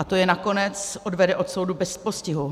A to je nakonec odvede od soudu bez postihu.